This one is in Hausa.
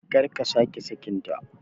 Karka sake sakin ta